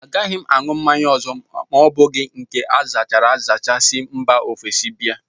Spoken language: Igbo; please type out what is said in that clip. Agaghị m aṅụ mmanya ọzọ abụghị nke azachara azacha si mba ofesi bịa